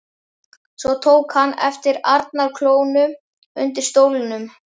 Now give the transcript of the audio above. Svo tók hann eftir arnarklónum undir stólnum.